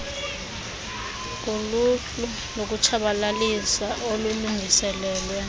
kuluhlu lokutshabalalisa olulungiselelwe